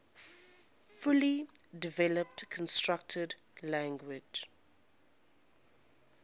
fully developed constructed language